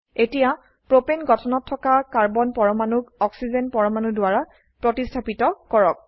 এতিয়া প্ৰোপেন গঠনত থকা কাৰ্বন পৰমাণুক অক্সিজেন পৰমাণু দ্বাৰা প্ৰতিস্থাপিত কৰক